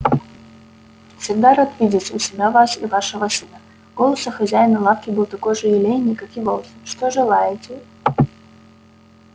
всегда рад видеть у себя вас и вашего сына голос у хозяина лавки был такой же елейный как и волосы что желаете